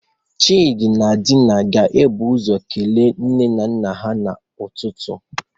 Chidi na Dina ga-ebu ụzọ kelee nne na nna ha n'ụtụtụ.